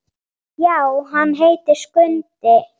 Já, hann heitir Skundi.